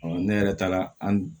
ne yɛrɛ taara an